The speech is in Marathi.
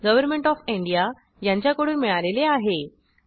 गव्हरमेण्ट ऑफ इंडिया यांच्याकडून मिळालेले आहे